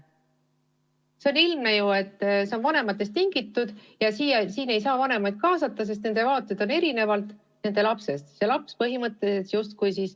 See on ju ilmne, et probleem on vanematest tingitud ja neid kaasata ei saa, sest nende vaated erinevad lapse omast.